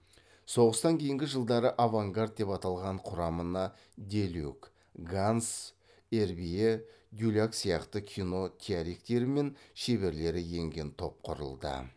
соғыстан кейінгі жылдары авангард деп аталған құрамына деллюк ганс эрбье дюлак сияқты кино теориктері мен шеберлері енген топ құрылды